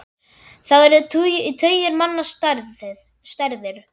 Þá eru tugir manna særðir.